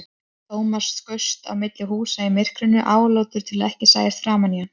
Thomas skaust á milli húsa í myrkrinu, álútur til að ekki sæist framan í hann.